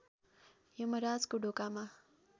यमराजको ढोकामा